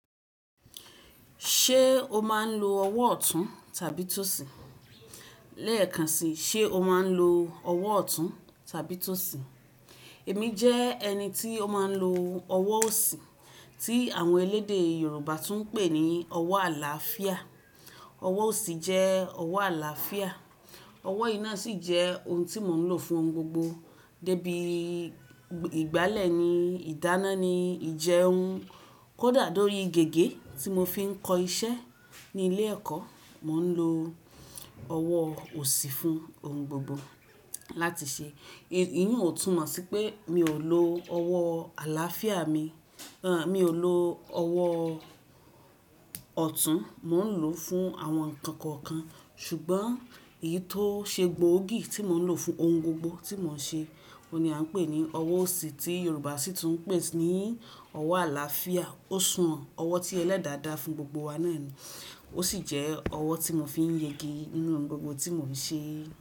Ṣé o máa ń lo ọwọ́ ọ̀tún tàbí tòsì? Lẹ́ẹ̀kan si, ṣe o máa ń lo ọwọ́ ọ̀tún tàbí tòsì? Èmi jẹ́ ẹni tí ó máa ń lo ọwọ́ òsì tí àwọn elédè Yoruba tún ń pè ní ọwọ́ àlàáfíà. Ọwọ́ òsì jẹ́ ọwọ́ àlàáfíà. Ọwọ́ yìí náà sì jẹ́ ohun tí mò ń lò fún ohun gbogbo débi ìgbálẹ̀ ni, ìdáná ni, ìjẹun kódà lórí gègé tí mo fi ń kọ iṣẹ́ ní ilé-ẹ̀kọ́, mò ń lo ọwọ́ òsì fún ohun gbogbo láti ṣe. Èyí ò tún mọ̀ sí pé mi ò lo ọwọ́ àlàáfíà mi, rárá mi ò lo ọwọ́ ọ̀tún, mò ń lò ó fún àwọn nǹkan kan ṣùgbọ́n èyí tó ṣe gbòógì tí mò ń lò fún ohun gbogbo tí mò ń ṣe, òun ni à ń pè ní ọwọ́ òsì tí Yoruba sì tún ń pè ní ọwọ́ àlàáfíà. Ó san ọwọ́ tí ẹlẹ́dàá dá fún gbogbo wa náà ni. Ó sì jẹ́ ọwọ́ tí mo fi ń yege nínú ohun gbogbo tí mò ń ṣe.